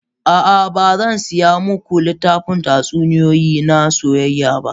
A'a, ba zan saya muku littafin tatsuniyoyi na soyayya ba.